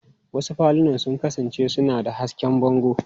Wasu falunan sun kasance suna da hasken bango.